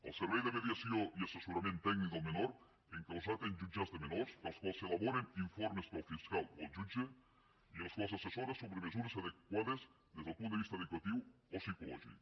el servei de mediació i assessorament tècnic del menor encausat en jutjats de menors per als quals s’elaboren informes per al fiscal o el jutge i als quals assessora sobre mesures adequades des del punt de vista educatiu o psicològic